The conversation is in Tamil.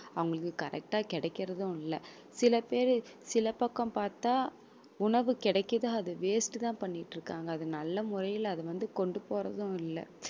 அவங்களுக்கு correct ஆ கிடைக்கிறதும் இல்ல சில பேரு சில பக்கம் பார்த்தால் உணவு கிடைக்குது அது waste தான் பண்ணிட்டு இருக்காங்க. அது நல்ல முறையில அத வந்து கொண்டு போறதும் இல்ல